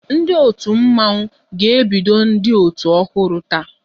Ndị otu Mmọnwụ ga-ebido ndị otu ọhụrụ taa